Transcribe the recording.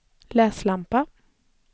läslampa